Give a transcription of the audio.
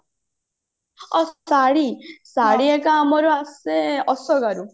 ଶାଢୀ ହେରିକ ଆମର ଆସେ